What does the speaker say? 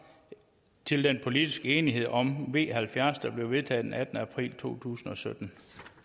til den politiske enighed om v halvfjerds der blev vedtaget den attende april to tusind og sytten